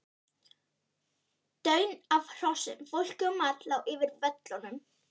Daunn af hrossum, fólki og mat lá yfir völlunum.